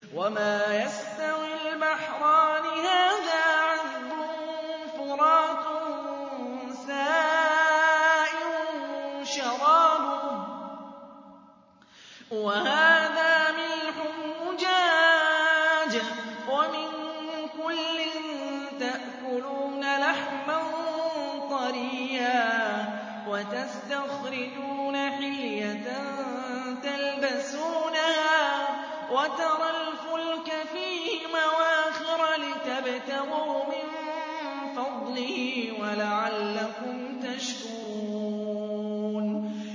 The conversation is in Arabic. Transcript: وَمَا يَسْتَوِي الْبَحْرَانِ هَٰذَا عَذْبٌ فُرَاتٌ سَائِغٌ شَرَابُهُ وَهَٰذَا مِلْحٌ أُجَاجٌ ۖ وَمِن كُلٍّ تَأْكُلُونَ لَحْمًا طَرِيًّا وَتَسْتَخْرِجُونَ حِلْيَةً تَلْبَسُونَهَا ۖ وَتَرَى الْفُلْكَ فِيهِ مَوَاخِرَ لِتَبْتَغُوا مِن فَضْلِهِ وَلَعَلَّكُمْ تَشْكُرُونَ